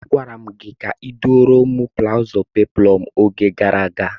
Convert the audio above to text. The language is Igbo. Agwara m gị ka ịdụọrọ m blaụzụ peplọm n'oge gara aga!